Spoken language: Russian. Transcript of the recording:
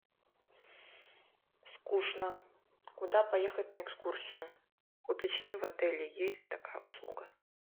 скучно куда поехать на экскурсию уточни в отеле есть такая услуга